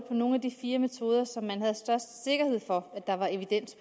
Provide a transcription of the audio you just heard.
på nogle af de fire metoder som man har størst sikkerhed for at der er evidens